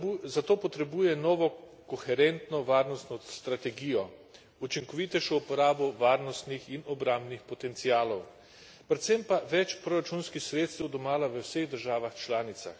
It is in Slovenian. Zato potrebuje novo koherentno varnostno strategijo, učinkovitejšo uporabo varnostnih in obrambnih potencialov, predvsem pa več proračunskih sredstev domala v vseh državah članicah.